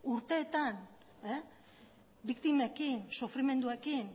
urteetan biktimekin sufrimenduekin